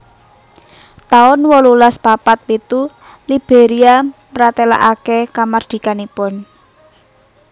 taun wolulas papat pitu Liberia mratélakaken kamardikanipun